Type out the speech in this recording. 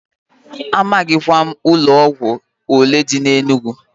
Amaghịkwa m ụlọ ọgwụ olee dị n'Enugu.